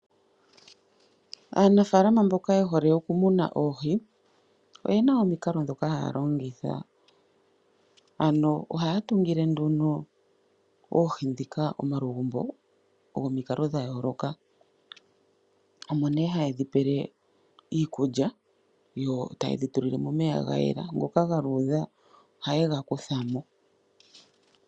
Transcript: Aanafalama mboka yehole oku muna oohi, oyena omikalo dhoka haya longitha. Ohaya tungike nduno oohi dhika omalugumbo gomikalo dha yooloka, omo nduno haye dhu pele iikulya, yo tayedhi tulilemo omeya ga yela ngoka galuudha oha yega kuthamo.